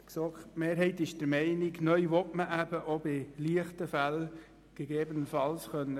Sie will neu gegebenenfalls eben auch bei leichten Fällen kürzen können.